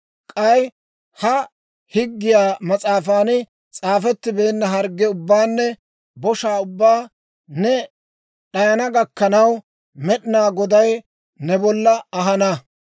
K'ay ha higgiyaa mas'aafan s'aafettibeenna hargge ubbaanne boshaa ubbaa ne d'ayana gakkanaw, Med'inaa Goday ne bolla ahana.